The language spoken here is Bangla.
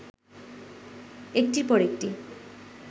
একটির পর একটি